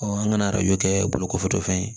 an ŋana arajo kɛ bolokɔfɛtɔfɛn ye